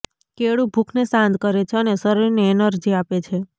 કેળું ભૂખને શાંત કરે છે અને શરીરને એનર્જી આપે છે